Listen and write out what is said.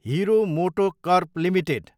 हेरो MotoCorp Ltd